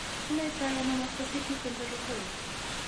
Kinaitano mastocytic enterocolits.